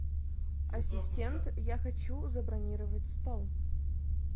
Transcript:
ассистент я хочу забронировать стол